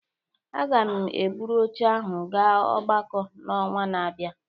a ga m eburu oche ahụ gaa ogbako n'ọnwa na-abịa